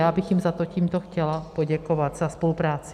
Já bych jim za to tímto chtěla poděkovat za spolupráci.